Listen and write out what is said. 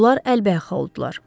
Onlar əlbəxa oldular.